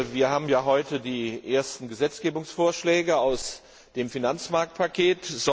Wir haben heute die ersten Gesetzgebungsvorschläge aus dem Finanzmarktpaket.